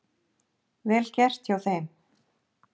Vel gert hjá þeim.